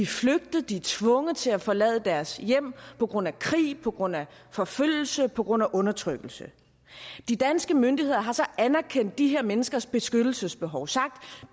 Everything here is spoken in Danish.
flygtet de er tvunget til at forlade deres hjem på grund af krig på grund af forfølgelse på grund af undertrykkelse de danske myndigheder har så anerkendt de her menneskers beskyttelsesbehov og sagt